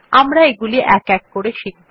আমরা এগুলি এক এক করে শিখব